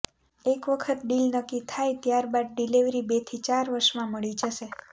એક વખત ડીલ નક્કી થાય ત્યારબાદ ડિલીવરી બેથી ચાર વર્ષમાં મળી જશે